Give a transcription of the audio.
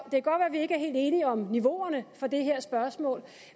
helt enige om niveauerne for det her spørgsmål